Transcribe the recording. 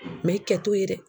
i kɛ t'o ye dɛ.